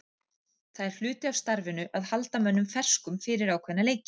Það er hluti af starfinu að halda mönnum ferskum fyrir ákveðna leiki.